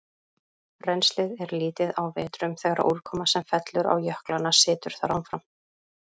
Rennslið er lítið á vetrum þegar úrkoma sem fellur á jöklana situr þar áfram.